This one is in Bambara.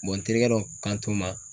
n terikɛ dɔ kan to n ma